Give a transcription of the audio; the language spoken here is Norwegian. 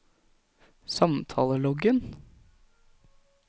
samtaleloggen